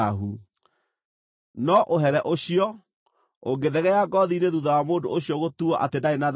No, ũhere ũcio, ũngĩthegea ngoothi-inĩ thuutha wa mũndũ ũcio gũtuuo atĩ ndarĩ na thaahu-rĩ,